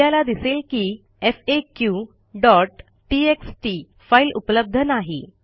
आपल्याला दिसेल की faqटीएक्सटी फाईल उपलब्ध नाही